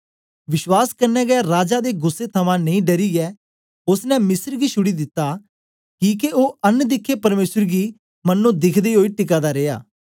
विश्वास कन्ने गै राजा दे गुस्सै थमां नेई डरियै ओसने मिस्र गी छुड़ी दिता किके ओ अन दिखे परमेसर गी मनो दिखदे ओई टिका दा रिया